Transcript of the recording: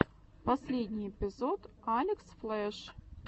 последний эпизод элекс флэш